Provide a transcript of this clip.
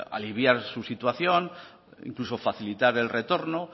aliviar su situación incluso facilitar el retorno